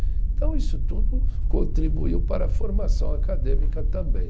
Então, isso tudo contribuiu para a formação acadêmica também.